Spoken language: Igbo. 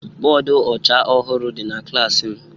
Bọdụ ọcha ọhụrụ dị na klas m